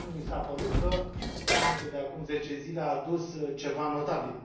nu mi s a părut că summitul de acum zece zile a adus ceva notabil.